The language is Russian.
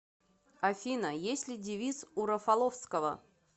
афина есть ли девиз у рафаловского